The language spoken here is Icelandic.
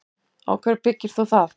Á hverju byggir þú það?